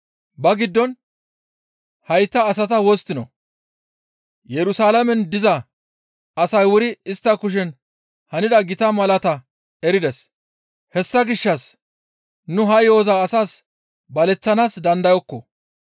Ba giddon, «Hayta asata wosttinoo? Yerusalaamen diza asay wuri istta kushen hanida gita malaataa erides. Hessa gishshas nu ha yo7oza asaa baleththanaas dandayokko.